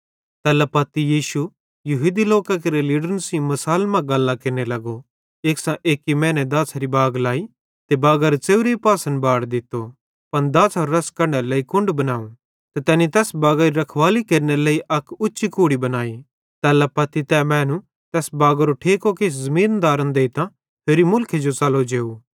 तैल्ला पत्ती यीशु यहूदी लोकां केरे लीडरन सेइं मिसालन मां गल्लां केरने लगो एक्सां एक्की मैने दाछ़री बाग लाई ते बागारे च़ेव्रे पासन बाड़ दित्तो त दाछ़रो रस कढनेरे लेइ कुण्ड बनावं ते तैनी तैस बागारी रखवाली केरनेरे लेइ अक उच्ची कुड़ी बनाई तैल्ला पत्ती तै मैनू तैस बागारो ठेको किछ ज़मीनदारन देइतां होरि मुल्खे जो च़लो जेव